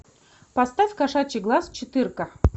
поставь кошачий глаз четырка